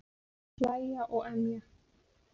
Hlæja og emja.